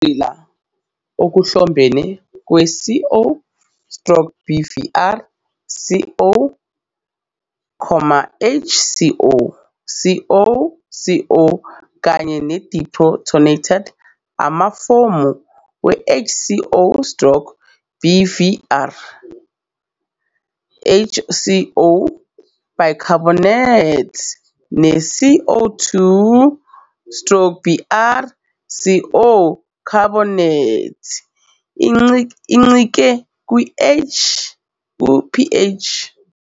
Ukugxila okuhlobene kwe-CO stroke bvr CO, HCO CO CO kanye deprotonated amafomu HCO- stroke bvr, HCO, bicarbonate, ne- CO2 stroke br, CO, carbonate, incike kwi-pH.